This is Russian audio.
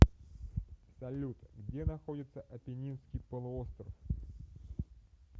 салют где находится апеннинский полуостров